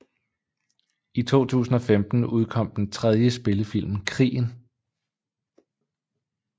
I 2015 udkom den tredje spillefilm Krigen